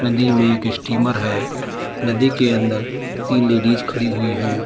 नदी में एक स्टीमर है नदी के अंदर तीन लेडीज खड़ी हुई है।